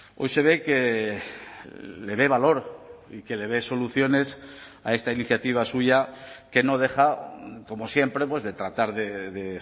hoy se ve que le ve valor y que le ve soluciones a esta iniciativa suya que no deja como siempre de tratar de